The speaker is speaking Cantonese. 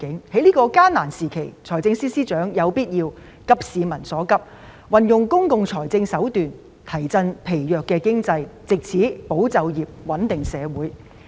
在這個艱難時期，財政司司長有必要急市民所急，運用公共財政手段，提振疲弱的經濟，藉此保就業、穩定社會。